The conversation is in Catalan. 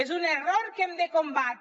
és un error que hem de combatre